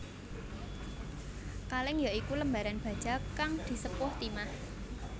Kalèng ya iku lembaran baja kang disepuh timah